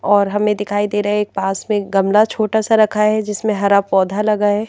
और हमें दिखाई दे रहा है एक पास में गमला छोटा सा रखा है जिसमें हरा पौधा लगा है।